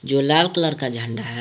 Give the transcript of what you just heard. जो लाल कलर का झंडा है।